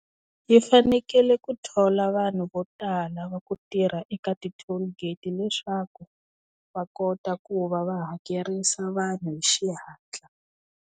Yi fanekele ku thola vanhu vo tala va ku tirha eka ti-toll gate leswaku va kota ku va va hakerisa vanhu hi xihatla.